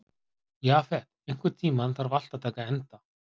Jafet, einhvern tímann þarf allt að taka enda.